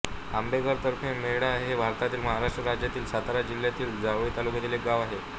आंबेघर तर्फे मेढा हे भारतातील महाराष्ट्र राज्यातील सातारा जिल्ह्यातील जावळी तालुक्यातील एक गाव आहे